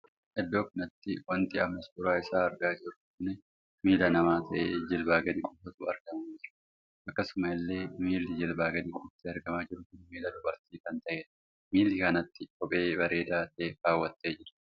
Iddoo kanatti wanti amma suuraa isaa argaa jiru kun miilla namaa tahee jilbaa gadi qofatu argamaa jira. akkasuma illee miilli jilbaa gadi qofti argamaa jiru kun miilla dubartii kan tahedha. milla kanatti kophee bareedaa tahe kawwattee jirti.